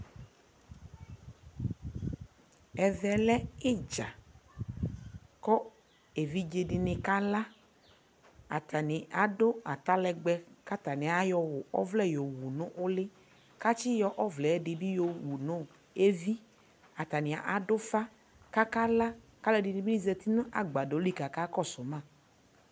ɛvɛ lɛ idza ko evidze dini kala atani ado atalɛgbɛ ko atani ayɔ ɔvlɛ yowu no uli ko atsi yɔ ɔvlɛ ɛdi yowu no evi atani ado ufa ko akala ko alo ɛdini bi zati no agbadɔ li ko aka kɔso ma